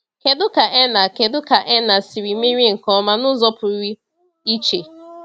Kedu ka Erna Kedu ka Erna siri merie nke ọma n’ụzọ pụrụ iche?